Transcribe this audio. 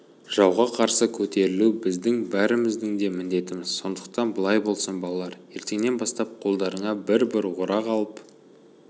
жауға қарсы көтерілу біздің бәріміздің де міндетіміз сондықтан былай болсын балалар ертеңнен бастап қолдарыңа бір-бір орақ алып